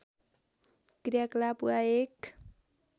क्रियाकलाप वा एक